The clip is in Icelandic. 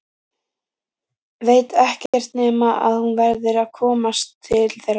Veit ekkert nema að hún verður að komast til þeirra.